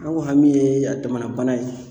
An ko hami ye a damana bana ye.